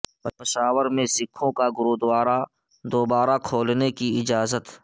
پشاور میں سکھوں کا گوردوارہ دوبارہ کھولنے کی اجازت